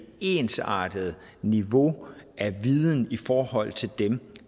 ensartet niveau af viden i forhold til dem